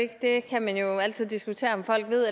kan man jo altid diskutere om folk ved